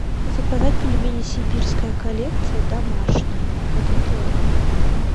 заказать пельмени сибирская коллекция домашние один килограмм